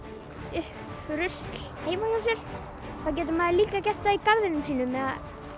upp rusl heima hjá sér þá getur maður líka gert það í garðinum sínum eða